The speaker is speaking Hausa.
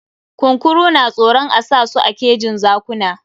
Kunkuru na tsoron a sa su a kejin zakuna.